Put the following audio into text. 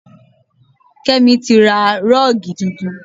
Kémi tí ra rọ́ọ̀gì tuntun